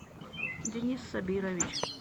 денис сабирович